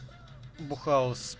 бухать